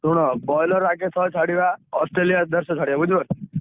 ଶୁଣ broiler ଆଗେ ଶହେ ଛାଡିବା Australia ଦେଢଶ ଛାଡିବା ବୁଝିପରୁଛ?